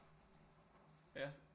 Ja